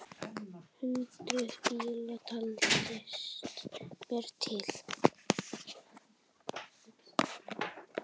Hundruð bíla, taldist mér til!